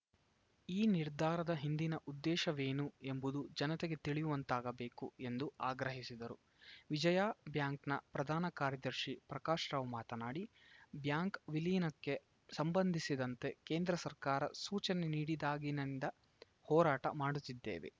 ಈ ನಿರ್ಧಾರದ ಹಿಂದಿನ ಉದ್ದೇಶವೇನು ಎಂಬುದು ಜನತೆಗೆ ತಿಳಿಯುವಂತಾಗಬೇಕು ಎಂದು ಆಗ್ರಹಿಸಿದರು ವಿಜಯಾ ಬ್ಯಾಂಕ್‌ನ ಪ್ರಧಾನ ಕಾರ್ಯದರ್ಶಿ ಪ್ರಕಾಶ್‌ ರಾವ್‌ ಮಾತನಾಡಿ ಬ್ಯಾಂಕ್‌ ವಿಲೀನಕ್ಕೆ ಸಂಬಂಧಿಸಿದಂತೆ ಕೇಂದ್ರ ಸರ್ಕಾರ ಸೂಚನೆ ನೀಡಿದಾಗಿ ನಿಂದ ಹೋರಾಟ ಮಾಡುತ್ತಿದ್ದೇವೆ